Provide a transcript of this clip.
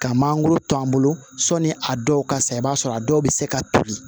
Ka mangoro to an bolo sɔnni a dɔw ka sa i b'a sɔrɔ a dɔw bɛ se ka toli